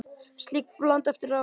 Slík blanda er afleit.